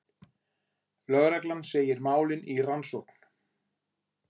Lögregla segir málin í rannsókn